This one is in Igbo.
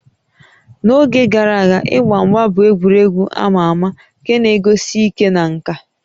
N'oge gara aga, ịgba mgba bụ egwuregwu a ma ama nke na-egosi ike na nka